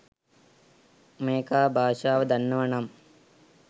මේකා භාෂාව දන්නවනම්